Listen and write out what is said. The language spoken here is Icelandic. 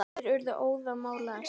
Þeir urðu óðamála og æstir.